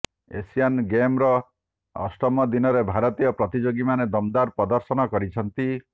Asian ଗେମ୍ସର ଅଷ୍ଟମ ଦିନରେ ଭାରତୀୟ ପ୍ରତିଯୋଗୀ ମାନେ ଦମଦାର ପ୍ରଦର୍ଶନ କରିଛନ୍ତି